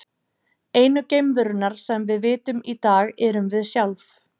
Einu geimverurnar sem við vitum um í dag erum við sjálf.